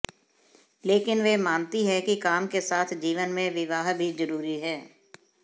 लेकिन वे मानती हैं कि काम के साथ जीवन में विवाह भी जरूरी है